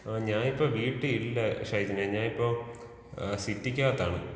ആ ഞാനിപ്പോ വീട്ടിലില്ല ഷൈജിനെ.ഞാനിപ്പോ ഏ സിറ്റിക്ക് അകത്താണ്.